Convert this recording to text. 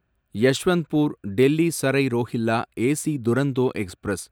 Yesvantpur Delhi Sarai Rohilla AC Duronto express